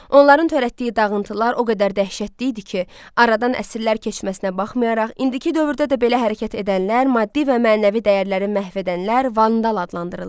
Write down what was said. Onların törətdiyi dağıntılar o qədər dəhşətli idi ki, aradan əsrlər keçməsinə baxmayaraq, indiki dövrdə də belə hərəkət edənlər, maddi və mənəvi dəyərləri məhv edənlər vandal adlandırılırdı.